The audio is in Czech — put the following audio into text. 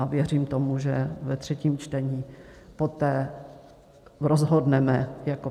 A věřím tomu, že ve třetím čtení poté rozhodneme jako